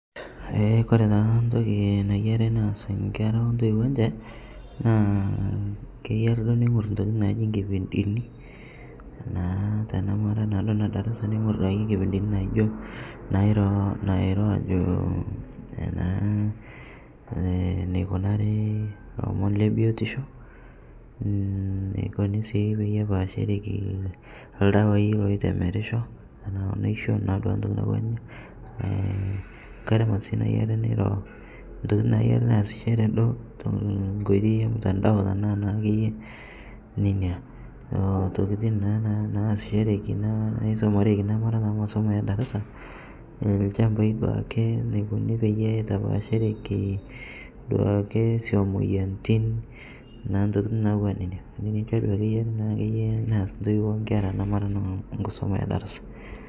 Ee kore taa ntoki nayeri neas nkera ontoiwo enshe, naa keyari duo neing'ur ntokitin naaji nkipindini naa tanamara naaduo nedarasa neing'ur duake nkipindinii naijo nairo ajoo naa neikunari lomon lebiotishoo, neikunii sii pepashereki ldawai loitemerisho tanaa naisho ntoki naaduake natuwaa inia ng'ai ramat sii nayeri neiro, ntokitin nayeri naasishere duo tonkoitei emtandao tanaa naakeye nenia tokitin naa naasishereki naisomareki namara taa masomo ee darasa lshampai duake, neikuni peitapashereki duake suom moyanitin naa ntokitin natuwana nenia, nenia ake duake akeye naa eyari neaz ntoiwo onkera namara naa nkusoma edarasa.